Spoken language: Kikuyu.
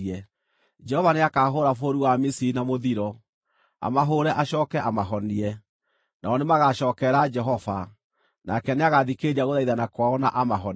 Jehova nĩakahũũra bũrũri wa Misiri na mũthiro, amahũũre acooke amahonie. Nao nĩmagacookerera Jehova, nake nĩagathikĩrĩria gũthaithana kwao na amahonie.